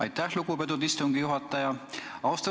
Aitäh, lugupeetud istungi juhataja!